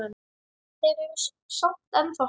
Þeir eru samt ennþá hann.